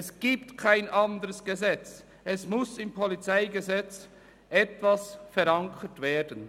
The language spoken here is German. Es gibt kein anderes Gesetz, es muss im PolG etwas verankert werden.